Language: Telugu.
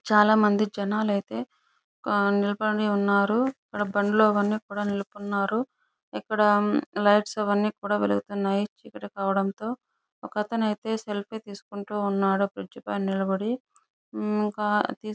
చాలా మంది జనాలు అయితే అక్కడ నిలబడి ఉన్నారు. అక్కడ బండ్లు అవన్నీ కూడా నిల్పడినారు. ఇక్కడ లైట్స్ అవన్నీ కూడా వెలుగుతున్నాయి. చీకటి కావడంతో ఒకతను అయితే సెల్ఫ్ తీసుకుంటండు బ్రిడ్జి పైన నిలబడి ఆహ్ ఇంకా --